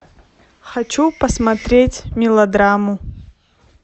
хочу посмотреть мелодраму